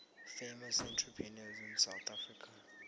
famous entrepreneurs in south africa